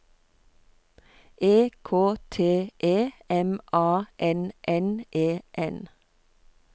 E K T E M A N N E N